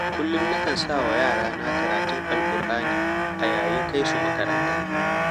Kullum na kan sanyawa yarana karatun Alkur'ani a yayin kai su makaranta.